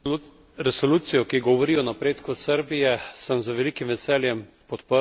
Resolucijo, ki govori o napredku Srbije, sem z velikim veseljem podprl.